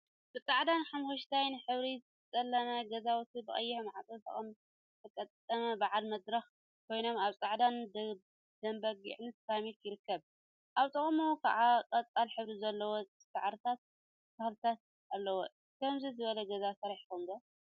ብፃዕዳን ሓመኩሽታይን ሕብሪ ዝተለመፁ ገዛውቲ ብቀይሕ ማዕፆ ዝተገጠሙ በዓል መድረክ ኮይኖም አብ ፃዕዳን ደምበጊዕን ሰራሚክ ይርከቡ፡፡ አብ ጥቅኦም ከዓ ቆፃል ሕብረ ዘለዎም ሳዕሪታትን ተክሊታን አለው፡፡ ከምዚ ዝበለ ገዛ ሰሪሕኩም ዶ?